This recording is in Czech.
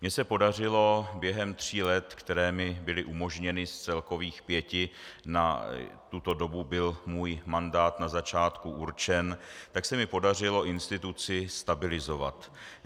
Mně se podařilo během tří let, která mi byly umožněna z celkových pěti, na tuto dobu byl můj mandát na začátku určen, tak se mi podařilo instituci stabilizovat.